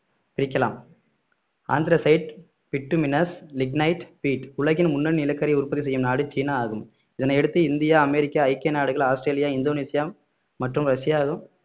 பிரிக்கலாம் anthracite bituminous lignite peat உலகின் முன்னணி நிலக்கரி உற்பத்தி செய்யும் நாடு சீனா ஆகும் இதனை அடுத்து இந்தியா அமெரிக்கா ஐக்கிய நாடுகள் ஆஸ்திரேலியா இந்தோனேஷியா மற்றும் ரஷ்யா